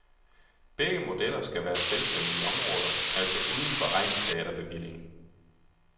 Begge modeller skal være selvstændige områder, altså uden for egnsteaterbevillingen.